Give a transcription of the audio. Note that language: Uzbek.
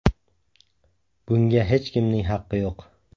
Bunga hech kimning haqqi yo‘q.